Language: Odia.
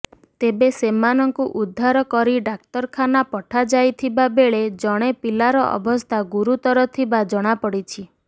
ତେବେ ସେମାନଙ୍କୁ ଉଦ୍ଧାର କରି ଡାକ୍ତରଖାନା ପଠାଯାଇଥିବା ବେଳେ ଜଣେ ପିଲାର ଅବସ୍ଥା ଗୁରୁତର ଥିବା ଜଣାପଡ଼ିଛି